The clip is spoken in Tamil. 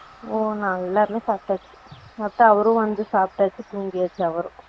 ஓ நாங்க எல்லாருமே சாப்டாச்சு மொத்தம் அவரும் வந்து சாப்டாச்சு தூங்கியாச்சு அவரும்